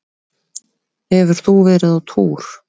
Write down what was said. Hefur þú verið á túr?